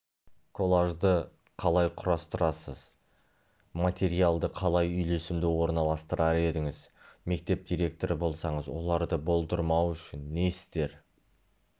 коллажды қалай құрастырасыз материалды қалай үйлесімді орналастырар едіңіз мектеп директоры болсаңыз оларды болдырмау үшін не істер